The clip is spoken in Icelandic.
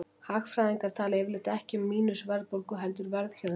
Hagfræðingar tala yfirleitt ekki um mínus-verðbólgu heldur verðhjöðnun.